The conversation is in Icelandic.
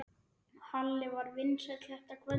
Halli var vinsæll þetta kvöld.